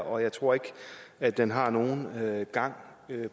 og jeg tror ikke at den har nogen gang